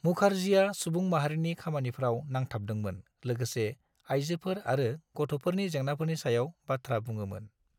मुखार्जीआ सुबुं माहारिनि खामानिफ्राव नांथाबदोंमोन लोगोसे आइजोफोर आरो गथ'फोरनि जेंनाफोरनि सायाव बाथ्रा बुङोमोन।